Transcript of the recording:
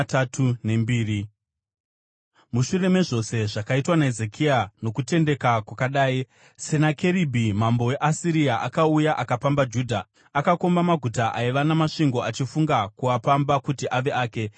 Mushure mezvose zvakaitwa naHezekia nokutendeka kwakadai, Senakeribhi mambo weAsiria akauya akapamba Judha. Akakomba maguta aiva namasvingo achifunga kuapamba kuti ave ake.